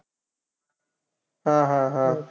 हा, हा, हा.